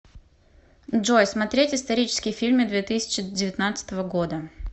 джой смотреть исторические фильмы две тысячи девятнадцатого года